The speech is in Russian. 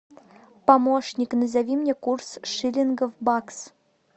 помощник назови мне курс шиллинга в бакс